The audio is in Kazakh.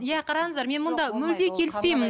иә қараңыздар мен мұнда мүлдем келіспеймін